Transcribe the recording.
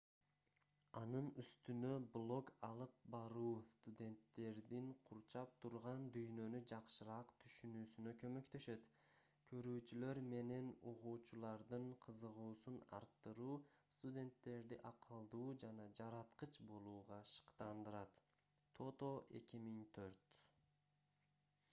анын үстүнө блог алып баруу студенттердин курчап турган дүйнөнү жакшыраак түшүнүүсүнө көмөктөшөт". көрүүчүлөр менен угуучулардын кызыгуусун арттыруу – студенттерди акылдуу жана жараткыч болууга шыктандырат тото 2004